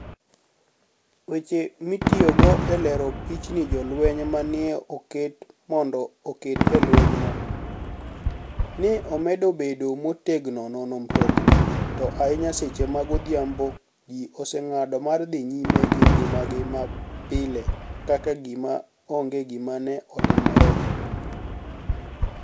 Weche mitiyogo e lero pichnii Jolweniy ma ni e oket monido oked e lweniygo, ni e omedo bedo motegno nono mtoknii, to ahiniya seche mag odhiambo ji osenig'ado mar dhi niyime gi nigimagi mapile ka gima onige gima ni e otimore.